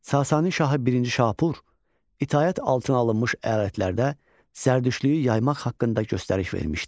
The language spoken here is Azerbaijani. Sasani şahı birinci Şapur itaət altına alınmış əyalətlərdə zərdüştlüyü yaymaq haqqında göstəriş vermişdi.